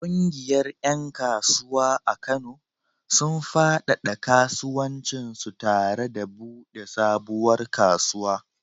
Ƙungiyar ƴan kasuwa a Kano, sun faɗaɗa kasuwancinsu tare da buɗe sabuwar kasuwa.